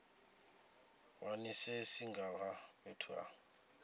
wanisise nga ha fhethu ha